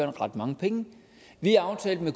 ret mange penge vi aftalte